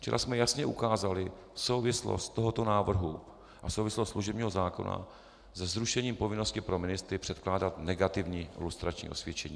Včera jsme jasně ukázali souvislost tohoto návrhu a souvislost služebního zákona se zrušením povinnosti pro ministry předkládat negativní lustrační osvědčení.